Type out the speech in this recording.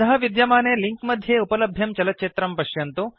अधः विद्यमाने लिंक मध्ये उपलभ्यं चलच्चित्रं पश्यन्तु